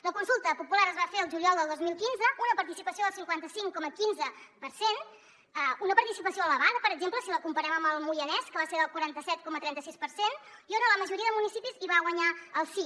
la consulta popular es va fer el juliol del dos mil quinze una participació del cinquanta cinc coma quinze per cent una participació elevada per exemple si la comparem amb el moianès que va ser del quaranta set coma trenta sis per cent i on a la majoria de municipis va guanyar el sí